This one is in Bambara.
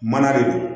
Mana de don